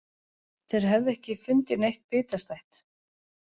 Þeir hefðu ekki fundið neitt bitastætt